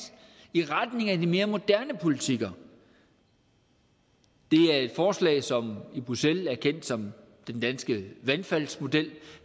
i retning af de mere moderne politikker det er et forslag som i bruxelles er kendt som den danske vandfaldsmodel